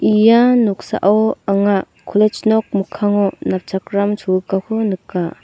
ia noksao anga college nok mikkango napchakram cholgugako nika.